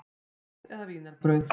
Snúð eða vínarbrauð?